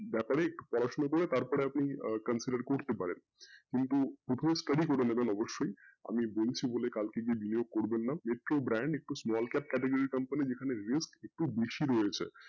ব্যাপারে পড়াশোনা করে তারপরে আপনি consider করতে পারেন কিন্তু প্রথমে study করে নেবেন অবশ্যই আমি বলছি বলে কালকে গিয়ে নিয়েও করবেন না small brand category company যেখানে খুব বেশি রয়েছে